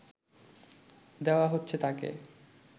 দেওয়া হচ্ছে তাকে